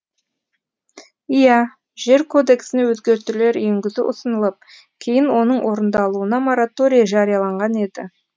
иә жер кодексіне өзгертулер енгізу ұсынылып кейін оның орындалуына мораторий жарияланған еді